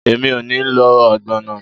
Emi o ni lo ogbono